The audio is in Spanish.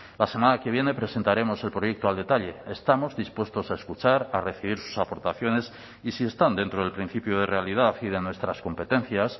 la semana que viene presentaremos el proyecto al detalle estamos dispuestos a escuchar a recibir sus aportaciones y si están dentro del principio de realidad y de nuestras competencias